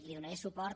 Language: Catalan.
hi donaré suport